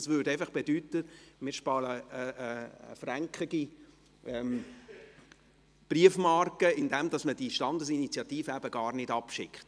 Das würde bedeuten, wir sparen eine 1-Franken-Briefmarke, indem man die Standesinitiative gar nicht abschickt.